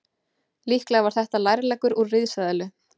Líklega var þetta lærleggur úr risaeðlu.